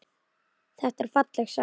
Þetta er falleg saga.